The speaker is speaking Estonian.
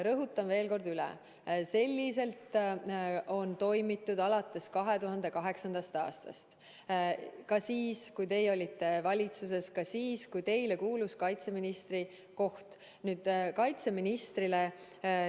Rõhutan veel kord üle: nii on toimitud alates 2008. aastast, ka siis, kui teie oli valitsuses, ka siis, kui teie kuulus kaitseministri koht.